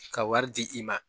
Ka wari di i ma